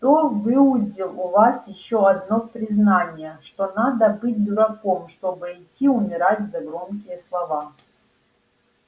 кто выудил у вас ещё одно признание что надо быть дураком чтобы идти умирать за громкие слова